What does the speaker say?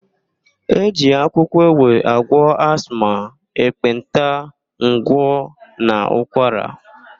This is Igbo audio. E ji akwụkwọ ewe agwọ asma, ekpenta, ngwọ, na ụkwara.